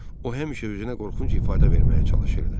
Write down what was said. O həmişə özünə qorxunc ifadə verməyə çalışırdı.